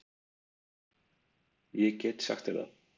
Ég get sagt þér það